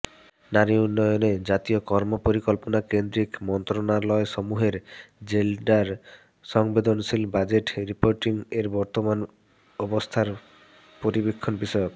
নারী উন্নয়নে জাতীয় কর্মপরিকল্পনা কেন্দ্রীক মন্ত্রণালয়সমূহের জেন্ডার সংবেদনশীল বাজেট রিপোর্টিং এর বর্তমান অবস্থার পরিবীক্ষণ বিষয়ক